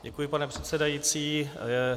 Děkuji, pane předsedající.